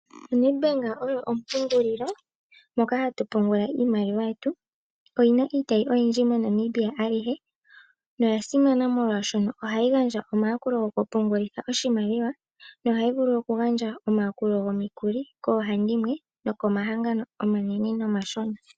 ONEDBANK oyo ompungulilo moka hatu pungula iimaliwa yetu. Oyina iitayi oyindji moNamibia alihe noya simana molwaashono ohayi gandja omayakulo goku pungulitha oshimaliwa nohayi vulu oku gandja omayakulo gomikuli koohandimwe nokomahangano omanene nomashona.